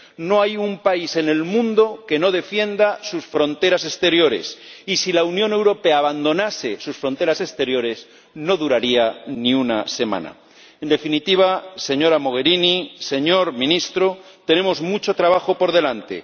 No hay un país en el mundo que no defienda sus fronteras exteriores y, si la Unión Europea abandonase sus fronteras exteriores, no duraría ni una semana. En definitiva, señora Mogherini, señor Ministro, tenemos mucho trabajo por delante.